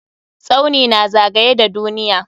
Tsauni na zagaye da duniya.